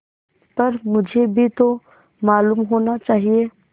पर मुझे भी तो मालूम होना चाहिए